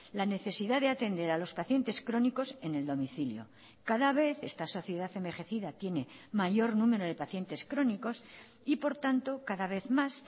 la necesidad de atender a los pacientes crónicos en el domicilio cada vez esta sociedad envejecida tiene mayor número de pacientes crónicos y por tanto cada vez más